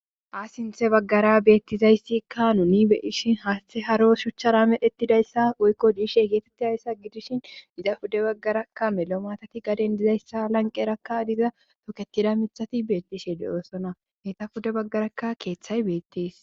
ha sinthe baggara beethizayssikka nuni be7ishin hati haro shuchchara medhettidayssa woykko dhishe eqettidayssa gidishin iza pude baggarakka mela maatati gaden dizayssa a lanqqerakka diza tokettida mittati beettishe de7oosona eeta pude baggarakka keeththay beettees.